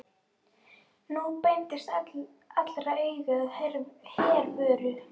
Nú beindust allra augu að Hervöru.